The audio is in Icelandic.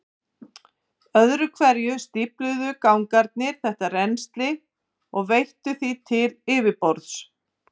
Sækir slasaðan hestamann